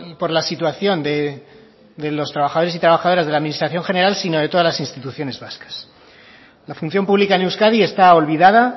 por la situación de los trabajadores y trabajadoras de la administración general sino de todas las instituciones vascas la función pública en euskadi está olvidada